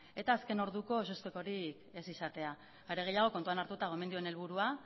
eta azken orduko ezustekoarik ez izatea are gehiago kontuan hartuta gomendioen helburua